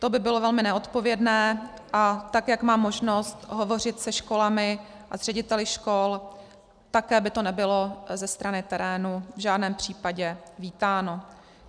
To by bylo velmi neodpovědné, a tak jak mám možnost hovořit se školami a s řediteli škol, také by to nebylo ze strany terénu v žádném případě vítáno.